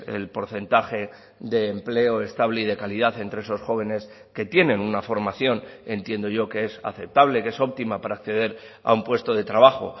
el porcentaje de empleo estable y de calidad entre esos jóvenes que tienen una formación entiendo yo que es aceptable que es óptima para acceder a un puesto de trabajo